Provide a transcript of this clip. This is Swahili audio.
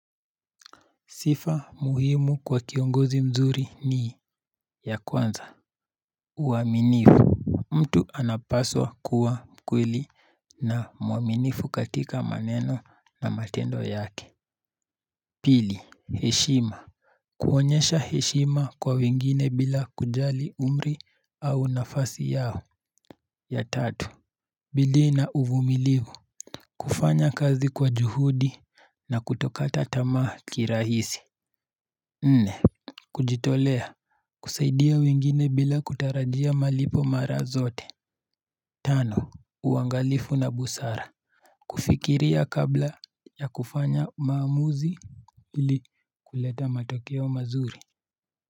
Sifa muhimu kwa kiongozi mzuri ni ya kwanza uwaminifu. Mtu anapaswa kuwa mkweli na muaminifu katika maneno na matendo yake. Pili, hishima. Kuonyesha hishima kwa wingine bila kujali umri au nafasi yao. Ya tatu bidhii na uvumilivu. Kufanya kazi kwa juhudi na kutokata tama kirahisi. Nne, kujitolea kusaidia wengine bila kutarajia malipo mara zote. Tano, uangalifu na busara kufikiria kabla ya kufanya maamuzi ili kuleta matokeo mazuri.